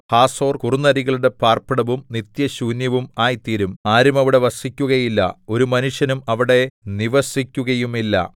Hazor കുറുനരികളുടെ പാർപ്പിടവും നിത്യശൂന്യവും ആയിത്തീരും ആരും അവിടെ വസിക്കുകയില്ല ഒരു മനുഷ്യനും അവിടെ നിവസിക്കുകയുമില്ല